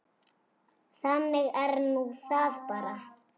Þannig er nú það bara.